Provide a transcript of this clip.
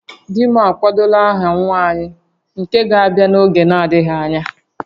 Di m akwadola aha nwa anyị nke ga-abịa n'oge na-adịghị anya